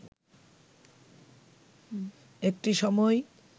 একটি সময়